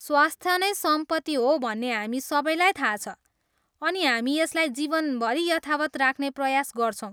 स्वस्थ नै सम्पत्ति हो भन्ने हामी सबैलाई थाहा छ, अनि हामी यसलाई जीवनभरि यथावत् राख्ने प्रयास गर्छौँ।